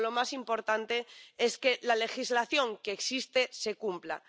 Pero lo más importante es que la legislación que existe se cumpla.